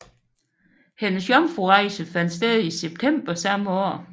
Hendes jomfrurejse fandt sted i september samme år